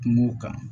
Kungo kan